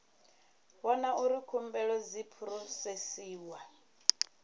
vhona uri khumbelo dzi phurosesiwa